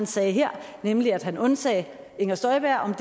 sagde her nemlig da han undsagde inger støjberg